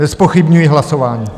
Nezpochybňuji hlasování.